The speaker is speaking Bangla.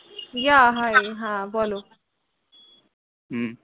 yeah hi হ্য়াঁ বলো, হম